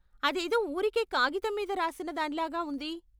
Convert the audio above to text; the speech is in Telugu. అదేదో ఊరికే కాగితం మీద రాసిన దానిలాగా ఉంది.